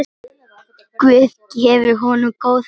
Guð gefi honum góðan byr.